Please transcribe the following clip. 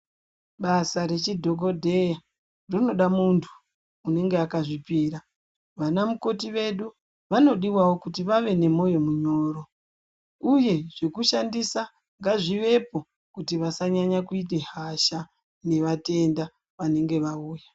Basa rechidhokodheya rinoda muntu unenge akazvipira, vana mukoti vedu vanodiwawo kuti vave nemoyo munyoro uye zvekushandisa ngazvivepo kuti vasanyanya kuite hasha nevatenda vanenge vauya.